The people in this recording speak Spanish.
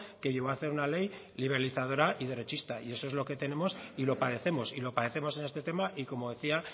que llevó hacer una ley liberalizadora y derechista y eso es lo que tenemos y lo padecemos y lo padecemos en este tema y como decía